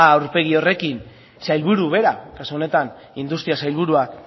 a aurpegi horrekin sailburu bera kasu honetan industria sailburuak